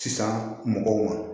Sisan mɔgɔw ma